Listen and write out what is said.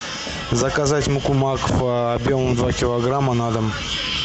заказать муку макфа объемом два килограмма на дом